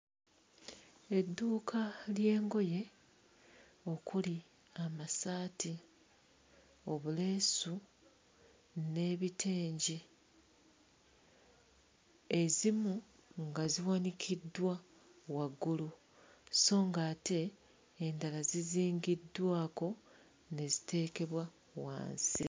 Edduuka ly'engoye okuli amasaati, obuleesu n'ebitengi, ezimu nga ziwanikiddwa waggulu, sso nga ate endala zizingiddwako ne ziteekebwa wansi.